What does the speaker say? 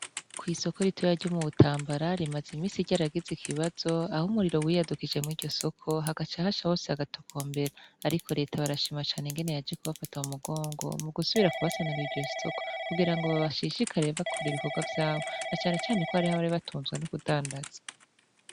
Kw'isoko ritoyarya mu butambarari imaze imisi rya aragize ikibazo aho umuriro wiyadukije mw iryo soko hagaca ahasha hose hagatoko mbera, ariko leta barashima cane ingene yaje kubafata mu mugongo mu gusubira kubasanurire iryo soko kugira ngo babashishikarire bakora ibikorwa vyabo na canecane ko ariho abari batunzwa n' kudandaza.